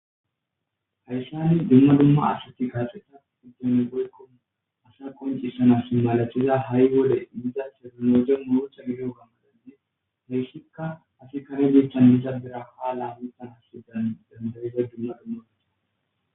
Hayssani dumma dumma asati kaaxeta uddeno gulko asa koncissanasi malachiza ha7i wode diza sernoje muocha gideo gammadanne heyssikka asi karegeechchan mizadera ha laamitan hasidan damatayiza dumma dumma gede.